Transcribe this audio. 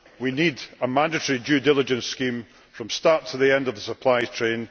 We need a mandatory due diligence scheme from the start to the end of the supply chain.